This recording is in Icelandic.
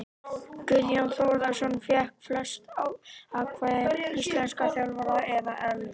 Guðjón Þórðarson fékk flest atkvæði íslenskra þjálfara eða ellefu.